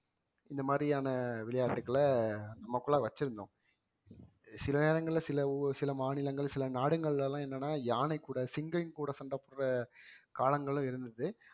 இந்த மாதிரியான விளையாட்டுகளை நமக்குள்ள வச்சிருந்தோம் சில நேரங்கள்ல சில ஊர் சில மாநிலங்கள் சில நாடுகள்ல எல்லாம் என்னன்னா யானை கூட சிங்கம் கூட சண்டை போடுற காலங்களும் இருந்தது